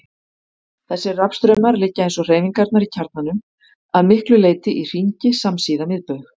Þessir rafstraumar liggja, eins og hreyfingarnar í kjarnanum, að miklu leyti í hringi samsíða miðbaug.